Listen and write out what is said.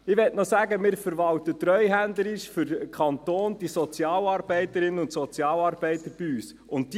Ich möchte noch sagen, dass wir bei uns die Sozialarbeiter und Sozialarbeiterinnen für den Kanton treuhänderisch verwalten.